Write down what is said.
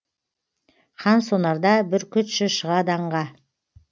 қансонарда бүркітші шығады аңға